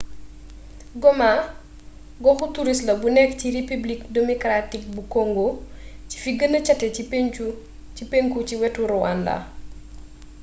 goma goxu turist la bu nekk ci repibilik demokaraatik bu kongo ci fi gëna càté ci pénku ci wetu ruwanda